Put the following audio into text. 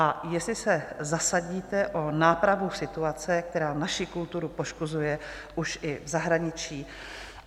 A jestli se zasadíte o nápravu situace, která naši kulturu poškozuje už i v zahraničí?